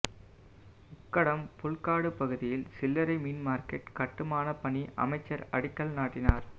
உக்கடம் புல்காடு பகுதியில் சில்லறை மீன் மாா்க்கெட் கட்டுமானப் பணிஅமைச்சா் அடிக்கல் நாட்டினாா்